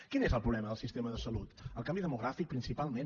quin és el problema del sistema de salut el canvi demogràfic principalment